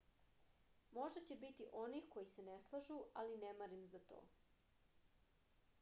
možda će biti onih koji se ne slažu ali ne marim za to